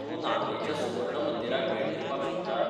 तूं नामनेच्या सुवर्ण मंदिराक भेट दिवपाक शकता.